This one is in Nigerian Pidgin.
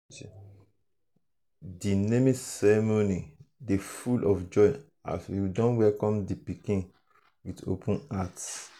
di um naming ceremony dey full of joy as we welcome di pikin um with open hearts.